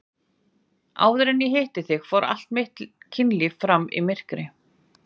Áður en ég hitti þig fór allt mitt kynlíf fram í myrkri.